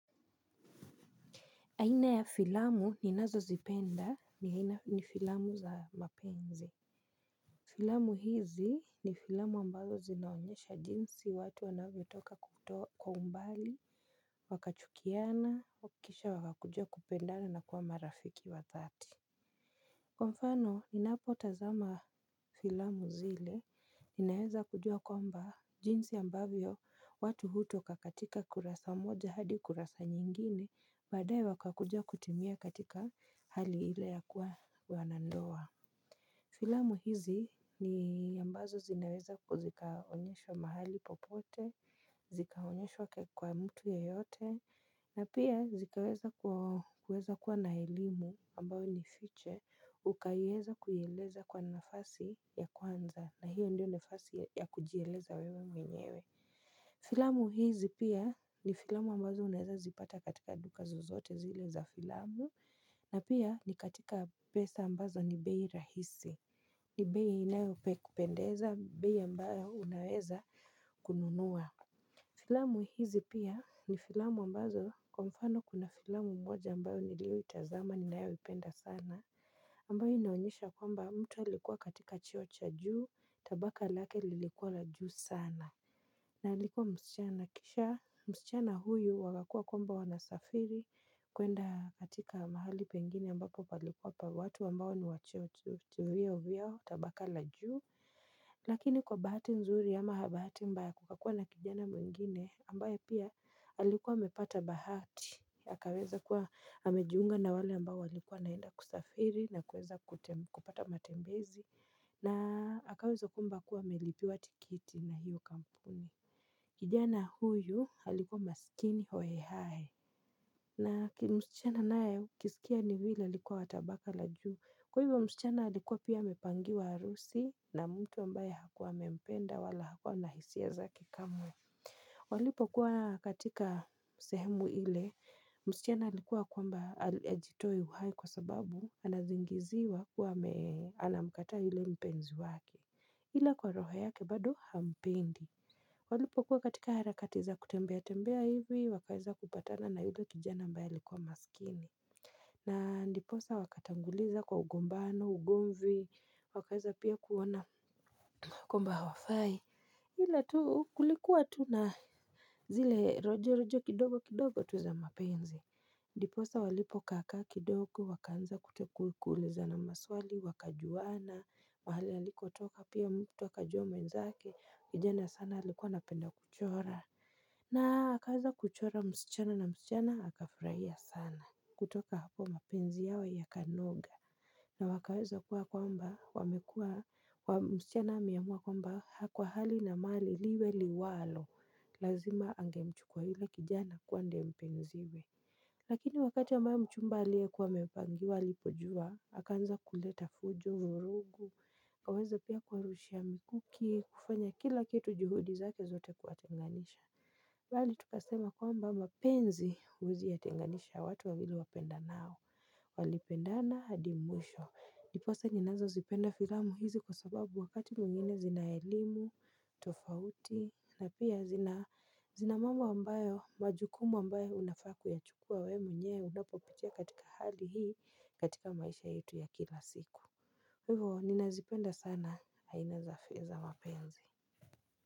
Aina ya filamu ninazozipenda ni filamu za mapenzi. Filamu hizi ni filamu ambazo zinaonyesha jinsi watu wanavyotoka kutoa kwa umbali, wakachukiana, wa kisha wakakujua kupendana na kuwa marafiki wa dhati. Kwa mfano, ninapo tazama filamu zile, ninaweza kujua kwamba jinsi ambavyo watu hutoka katika kurasa moja hadi kurasa nyingine badae wakakuja kutimia katika hali ile ya kuwa wanandoa. Filamu hizi ni ambazo zinaweza kuzikaonyesho mahali popote, zikaonyesho kwa mtu yeyote, na pia zikaweza kuweza kuwa na elimu ambayo ni fiche ukayeza kuieleza kwa nafasi ya kwanza na hiyo ndio nafasi ya kujieleza wewe mwenyewe. Filamu hizi pia ni filamu ambazo unaweza zipata katika duka zozote zile za filamu na pia ni katika pesa ambazo ni bei rahisi ni bei inayope kupendeza bei ambayo unaweza kununua Filamu hizi pia ni filamu ambazo kwa mfano kuna filamu moja ambayo nilioitazama ninayoipenda sana ambayo inaonyesha kwamba mtu alikuwa katika cheo cha juu tabaka lake lilikuwa la juu sana na alikuwa msichana kisha msichana huyu wakakua kwamba wanasafiri kwenda katika mahali pengine ambako palikuwa pa watu ambao ni wa cheo tu vyeo vyao tabaka la juu Lakini kwa bahati nzuri ama habahati mbaya kukakuwa na kijana mwingine ambaye pia alikuwa amepata bahati. Akaweza kuwa amejiunga na wale ambao walikuwa wanaenda kusafiri na kuweza kupata matembezi na hakaweza kwamba kuwa amelipiwa tikiti na hiyo kampuni. Kijana huyu alikuwa masikini hohe hahe. Na msichana naye kusikia ni vile alikuwa wa tabaka la juu. Kwa hivyo msichana alikuwa pia amepangiwa arusi na mtu ambaye hakuwa amempenda wala hakuwa na hisia zakenkamwe. Walipokuwa katika sehemu ile msichana alikuwa kwamba ajitoe uhai kwa sababu anazingiziwa kuwa anamkataa yule mpenzi wake. Ila kwa roho yake bado hampendi Walipokuwa katika harakati za kutembea tembea hivi wakaeza kupatana na yule kijana ambaye alikuwa masikini na ndiposa wakatanguliza kwa ugombano ugomvi wakaeza pia kuona kwamba hawafai ila tu kulikuwa tu na zile rojo rojo kidogo kidogo tu za mapenzi Ndiposa walipo kaa kaa kidoko wakaanza kuulizana maswali wakajuana mahali alikotoka pia mtu akajua mwenzake kijana sana alikuwa anapenda kuchora Naa hakaweza kuchora msichana na msichana hakafraia sana kutoka hapo mapenzi yao yakanoga na wakaweza kuwa kwamba wamekuwa wa msichana ameamua kwamba haa kwa hali na mali liwe liwalo lazima angemchukua yule kijana kuwa ndiye mpenziwe Lakini wakati ambayo mchumba aliyekuwa amepangiwa alipojua, akaanza kuleta fujo, vurugu, haweze pia kuwarushia mikuki, kufanya kila kitu juhudi zake zote kuwatenganisha. Bali tukasema kwamba mapenzi uwezi yatenganisha watu wawili wapendanao. Walipendana hadi mwisho. Ndiposa ninazozipenda firamu hizi kwa sababu wakati mwingine zina elimu, tofauti na pia zina mambo ambayo majukumu ambayo unafaa kuyachukua we mwenyewe unapopitia katika hali hii katika maisha yetu ya kila siku Hivo ninazipenda sana haina za fi za mapenzi.